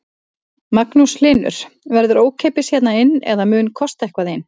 Magnús Hlynur: Verður ókeypis hérna inn eða mun kosta eitthvað inn?